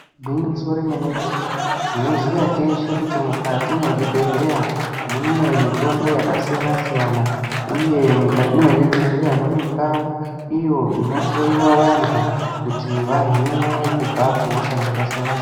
Gwinyiso remenemene tinoziva teshe kuti mukati mwezvigwehleya mune mitombo yakasiyana siyana uye mukati mwezvigwehleya mune ndau iyo inotshlowiwa vanhu kuti vahinwe kubva kuhosha dzakasiyana siyana.